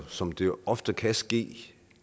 som det ofte kan ske